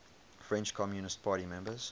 french communist party members